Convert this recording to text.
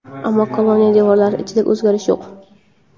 ammo koloniya devorlari ichida o‘zgarish yo‘q.